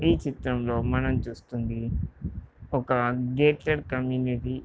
ఈ చిత్రంలో మనం చూస్తుంది ఒక గేటెడ్ కమ్యూనిటీ .